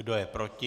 Kdo je proti?